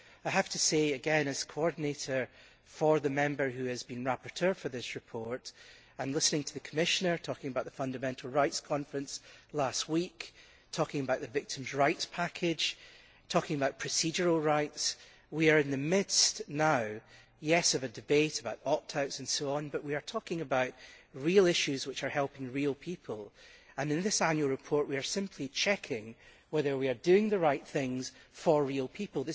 I have to say again, as coordinator for the Member who has been rapporteur for this report and listening to the Commissioner talking about the fundamental rights conference last week, the Victims' Rights Package and procedural rights that, although we are in the midst now of a debate about opt outs and so on, we are talking about real issues which are helping real people, and in this annual report we are simply checking whether we are doing the right things for real people.